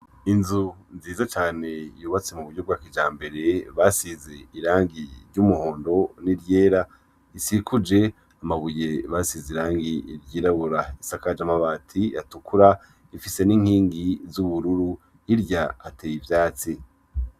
Inzu nziza cane yubatse mu buryo bwa kijambere basize irangi ry' umuhondo n' iryera risikuje amabuye basize irangi ryirabura risakaje amabati atukura rifise n' inkingi z' ubururu hirya hateye ivyatsi.